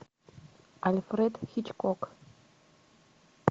альфред хичкок